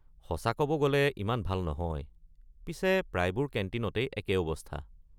সঁচা ক’ব গ’লে ইমান ভাল নহয়, পিছে প্ৰায়বোৰ কেণ্টিনতেই একেই অৱস্থা।